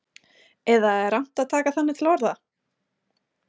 Eða er rangt að taka þannig til orða?